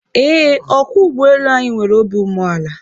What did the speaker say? Eé, ọkwọ ụgbọelu anyị nwere obi umeala